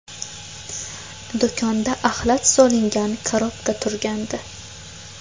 Do‘konda axlat solingan korobka turgandi.